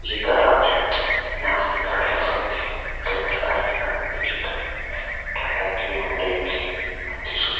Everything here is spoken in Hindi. ये गैराज है यहाँ पे गाड़ियां बनती हैं। कई प्रकार के गाड़ियां देखिये खड़ी हैं टाटा की हुंडई की मारुति सुजू --